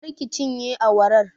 Kar ki cinye awarar!